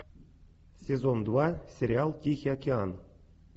сезон два сериал тихий океан